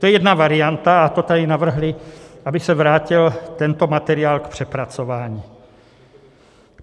To je jedna varianta a to tady navrhli, aby se vrátil tento materiál k přepracování.